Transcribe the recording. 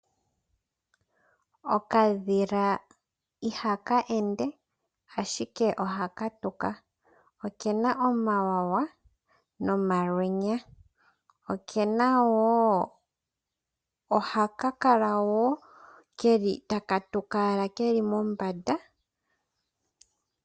Okadhila ihaka ende ashike ohaka tuka. Okena omawawa nomalwenya nohaka kala keli taka tuka keli mombanda.